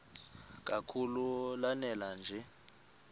kakhulu lanela nje